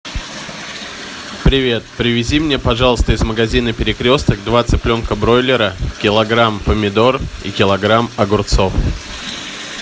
привет привези мне пожалуйста из магазина перекресток два цыпленка бройлера килограмм помидор и килограмм огурцов